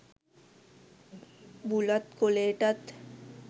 බුලත් කොලේටත්.